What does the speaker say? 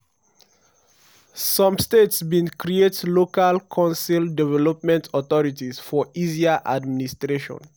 some states bin create local council development authorities for easier administration.